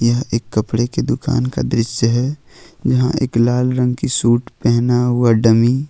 यह एक कपड़े की दुकान का दृश्य है जहां एक लाल रंग की सूट पहना हुआ डमी --